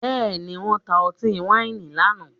Bẹ́ẹ̀ni, wọ́n ta ọtí wáìnì lánàá?